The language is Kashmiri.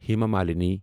ہِما مالینی